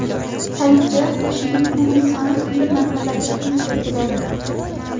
Salibchilar qo‘shinining umumiy soni turli manbalarda turlicha keladi.